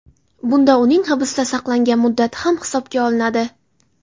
Bunda uning hibsda saqlangan muddati ham hisobga olinadi.